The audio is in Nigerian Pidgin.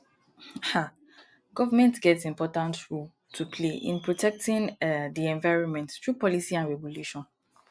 um government get important role to play in protecting um di environment through policy and regulation